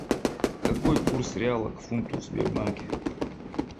какой курс реала к фунту в сбербанке